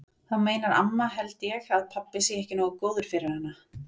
Þá meinar amma held ég að pabbi sé ekki nógu góður fyrir hana.